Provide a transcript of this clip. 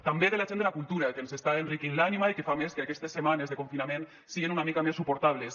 també de la gent de la cultura que ens està enriquint l’ànima i que fa a més que aquestes setmanes de confinament siguen una mica més suportables